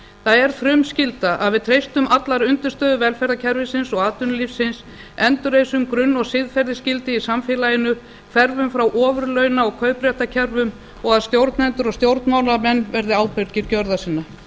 það er frumskylda að við treystum allar undirstöður velferðarkerfisins og atvinnulífsins endurreisum grunn og siðferðisgildi í samfélaginu hverfum frá ofurlauna og kaupréttarkerfum og að stjórnendur og stjórnmálamenn verði ábyrgir gjörða sinna